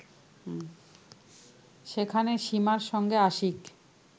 সেখানে সীমার সঙ্গে আশিক